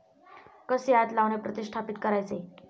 कसे आत लावणे प्रतिष्ठापीत करायचे?